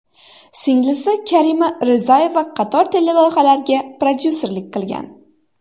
Singlisi Karima Rizayeva qator teleloyihalarga prodyusserlik qilgan.